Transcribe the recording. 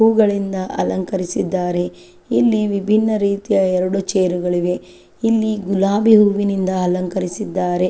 ಹೂವಗಳಿಂದ ಅಲಂಕರಿಸಿದ್ದಾರೆ ಇಲ್ಲಿ ವಿಭಿನ್ನ ರೀತಿಯ ಎರಡು ಚೇರ್ಗಳು ಇವೆ ಇಲ್ಲಿ ಗುಲಾಬಿ ಹೂವುಗಳಿಂದ ಅಲಂಕರಿಸಿದ್ದಾರೆ.